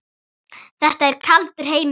Þetta er kaldur heimur.